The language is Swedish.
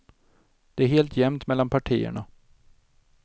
Det är helt jämnt mellan partierna.